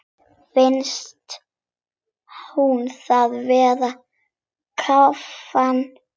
Finnst hún vera að kafna.